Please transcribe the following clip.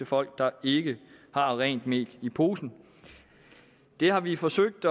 folk der ikke har rent mel i posen det har vi forsøgt